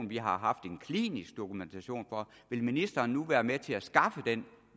vi har haft en klinisk dokumentation for vil ministeren nu være med til at skaffe den